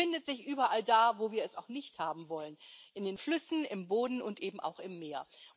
Es findet sich überall da, wo wir es auch nicht haben wollen in den Flüssen, im Boden und eben auch im Meer.